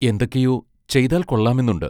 എന്തൊക്കെയോ ചെയ്താൽ കൊള്ളാമെന്നുണ്ട്.